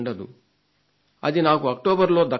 అది నాకు అక్టోబర్లో దక్కబోతోంది